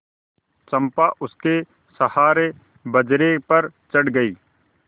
चंपा उसके सहारे बजरे पर चढ़ गई